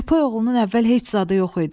Köpək oğlunun əvvəl heç zadı yox idi.